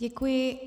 Děkuji.